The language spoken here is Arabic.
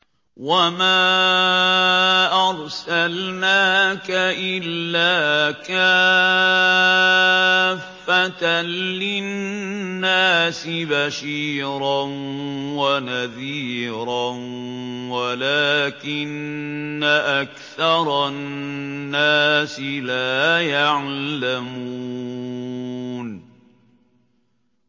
وَمَا أَرْسَلْنَاكَ إِلَّا كَافَّةً لِّلنَّاسِ بَشِيرًا وَنَذِيرًا وَلَٰكِنَّ أَكْثَرَ النَّاسِ لَا يَعْلَمُونَ